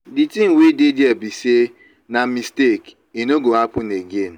the thing wey dey there be say na mistake e no go happen again.